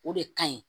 O de ka ɲi